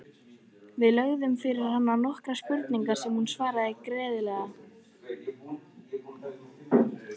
Við lögðum fyrir hana nokkrar spurningar sem hún svaraði greiðlega.